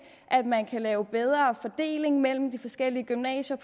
at man kan lave en bedre fordeling mellem de forskellige gymnasier